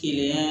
Kɛnɛya